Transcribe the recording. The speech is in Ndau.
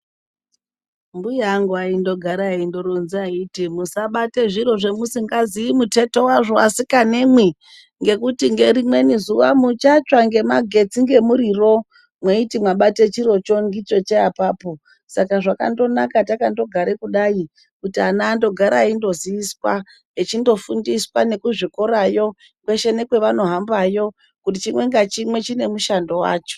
Mbuya angu aindogaro eindoronza aiti musabate zviro zvemusingazii muthetho wazvo asikanemwi ngekuti ngerimweni zuva muchatsva ngemagetsi ,ngemuriro mweiti mwabate chirocho ngichocho apapo. Saka zvakandonaka takandogare kudai kuti ana andogara eindoziyiswa, echindofundiswa nekuzvikorawo, kweshe nekwavanohambayo, kuti chimwe ngachimwe chine mushando wacho.